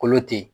Kolo te yen